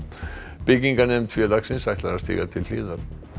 byggingarnefnd félagsins ætlar að stíga til hliðar